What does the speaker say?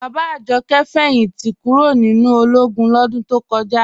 Bàbá Àjọ̀kẹ̀ fẹ́yìntí kúró̀ nínu ọlógún lọdún tó kọja.